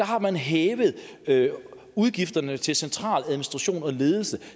har man hævet udgifterne til centraladministration og ledelse